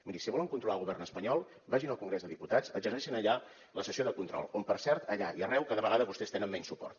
miri si volen controlar el govern espanyol vagin al congrés dels diputats exerceixin allà la sessió de control on per cert allà i a arreu cada vegada vostès tenen menys suport